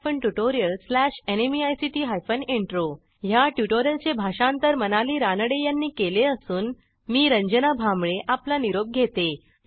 ह्या ट्युटोरियलचे भाषांतर मनाली रानडे यांनी केले असून मी रंजना भांबळे आपला निरोप घेते160